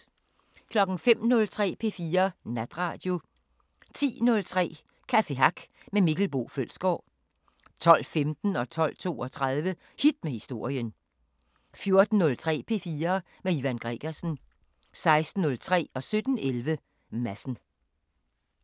05:03: P4 Natradio 10:03: Café Hack med Mikkel Boe Følsgaard 12:15: Hit med historien 12:32: Hit med historien 14:03: P4 med Ivan Gregersen 16:03: Madsen 17:11: Madsen